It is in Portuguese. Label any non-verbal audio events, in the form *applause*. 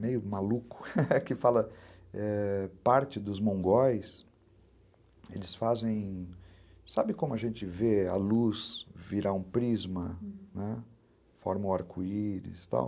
meio maluco, *laughs* que fala que parte dos mongóis fazem... Sabe como a gente vê a luz virar um prisma, né, forma um arco-íris e tal?